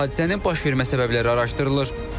Hadisənin baş vermə səbəbləri araşdırılır.